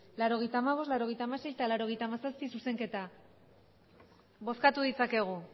laurogeita hamabost laurogeita hamasei eta laurogeita hamazazpi zuzenketa bozkatu ditzakegu